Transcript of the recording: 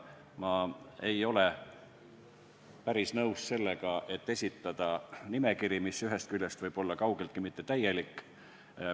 Ma ei ole päris nõus sellega, et esitada nimekiri, mis ühest küljest ei pruugi olla kaugeltki täielik.